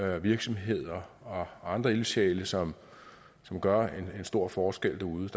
virksomheder og andre ildsjæle som gør en stor forskel derude